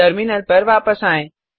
terminal पर वापस आएँ